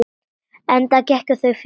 Enda gengu þau fyrir.